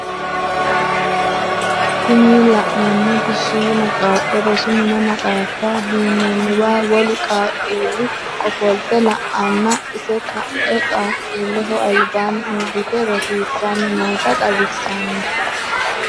Tini la'neemoti shiima qaaqqo rosu mine maxaaffa duunnanniwa wolu qaaqquuli ofolte la"anna ise ka"e qaqquulleho albaanni uurrite rosiissanni noota xawissanno.